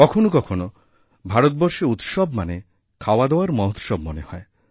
কখনও কখনও ভারতবর্ষে উৎসব মানে খাওয়াদাওয়ার মহোৎসব মনে হয়